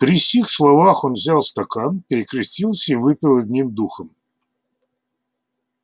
при сих словах он взял стакан перекрестился и выпил одним духом